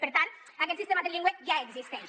per tant aquest sistema trilingüe ja existeix